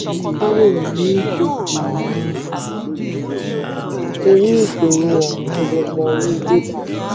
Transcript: torí ìṣòro ọ̀wọ́n gógó owó bébà.